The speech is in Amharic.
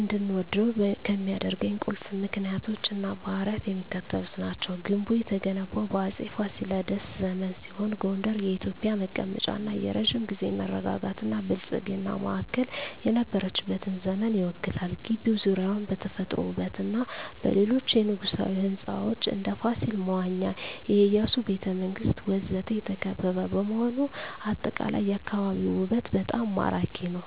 እንድወደው ከሚያደርኝ ቁልፍ ምክንያቶች እና ባህሪያት የሚከተሉት ናቸው። ግንቡ የተገነባው በአፄ ፋሲለደስ ዘመን ሲሆን ጎንደር የኢትዮጵያ መቀመጫ እና የረጅም ጊዜ መረጋጋትና ብልጽግና ማዕከል የነበረችበትን ዘመን ይወክላል። ግቢው ዙሪያውን በተፈጥሮ ውበትና በሌሎች የንጉሣዊ ሕንፃዎች (እንደ ፋሲል መዋኛ፣ የኢያሱ ቤተ መንግስት ወዘተ) የተከበበ በመሆኑ አጠቃላይ የአካባቢው ውበት በጣም ማራኪ ነው። …